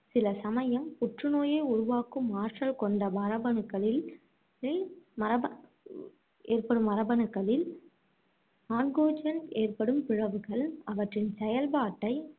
சில சமயம் புற்றுநோயை உருவாக்கும் ஆற்றல் கொண்ட மரபணுக்களில்~ ளில் மரப~ ஏற்படும் மரபணுக்களில் ஏற்படும் பிறழ்வுகள், அவற்றின் செயற்பாட்டை